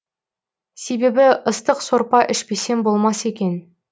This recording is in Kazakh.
себебі ыстық сорпа ішпесем болмас екен